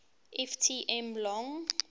ft m long